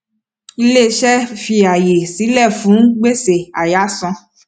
iléiṣẹ fi ààyè sílẹ fún gbèsè àyáàsan